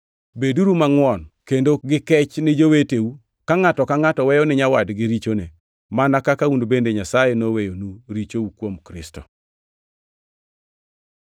Beduru mangʼwon kendo gi kech ni joweteu, ka ngʼato ka ngʼato weyo ni nyawadgi richone, mana kaka un bende Nyasaye noweyonu richou kuom Kristo.